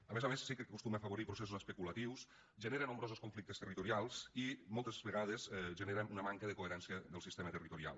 a més a més sí que acostuma a afavorir processos especulatius genera nombrosos conflictes territorials i moltes vegades genera una manca de coherència del sistema territorial